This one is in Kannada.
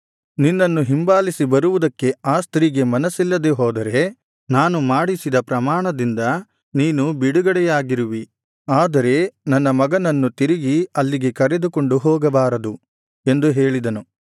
ನಿನ್ನನ್ನು ಹಿಂಬಾಲಿಸಿ ಬರುವುದಕ್ಕೆ ಆ ಸ್ತ್ರೀಗೆ ಮನಸ್ಸಿಲ್ಲದೆ ಹೋದರೆ ನಾನು ಮಾಡಿಸಿದ ಪ್ರಮಾಣದಿಂದ ನೀನು ಬಿಡುಗಡೆಯಾಗಿರುವಿ ಆದರೆ ನನ್ನ ಮಗನನ್ನು ತಿರುಗಿ ಅಲ್ಲಿಗೆ ಕರೆದುಕೊಂಡು ಹೋಗಬಾರದು ಎಂದು ಹೇಳಿದನು